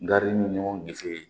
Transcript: Gari bɛ ɲɔgɔn gesen